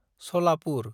Salapur